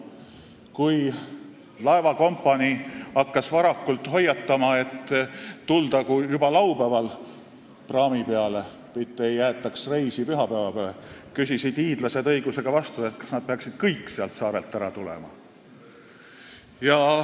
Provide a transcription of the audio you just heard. Kui laevakompanii hakkas varakult hoiatama, et tuldagu juba laupäeval praami peale, mitte ärgu jäetagu reisi pühapäeva peale, küsisid hiidlased õigusega vastu, kas nad peaksid kõik sealt saarelt ära tulema.